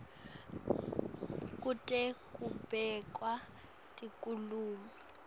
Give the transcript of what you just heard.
kute kubekwe tekulima